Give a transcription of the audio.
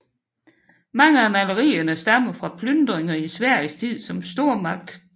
Mange af malerierne stammer fra plyndringer i Sveriges tid som stormagt